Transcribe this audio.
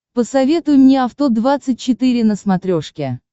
посоветуй мне авто двадцать четыре на смотрешке